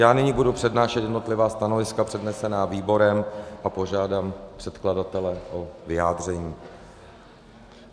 Já nyní budu přednášet jednotlivá stanoviska, přednesená výborem, a požádám předkladatele o vyjádření.